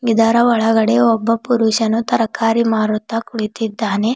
ಇದರ ಒಳಗಡೆ ಒಬ್ಬ ಪುರುಷನು ತರಕಾರಿ ಮಾರುತ್ತಾ ಕುಳಿತಿದ್ದಾನೆ.